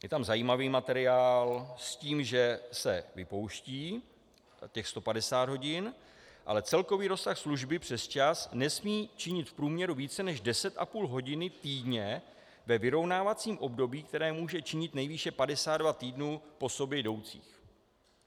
Je tam zajímavý materiál, s tím, že se vypouští těch 150 hodin, ale celkový rozsah služby přesčas nesmí činit v průměru více než 10,5 hodin týdně ve vyrovnávacím období, které může činit nejvýše 52 týdnů po sobě jdoucích.